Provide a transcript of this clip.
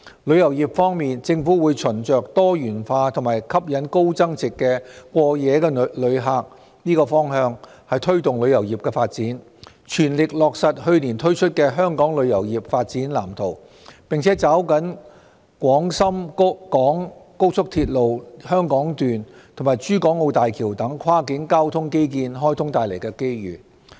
旅遊業方面，政府會循着多元化及吸引高增值過夜旅客的方向推動旅遊業發展，全力落實去年推出的《香港旅遊業發展藍圖》，並抓緊廣深港高速鐵路香港段及港珠澳大橋等跨境交通基建開通帶來的機遇。